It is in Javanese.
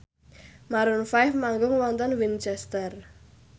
Maroon 5 manggung wonten Winchester